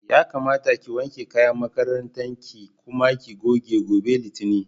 Yakamata ki wanke kayan makarantar ki kuma ki goge, gobe Litinin.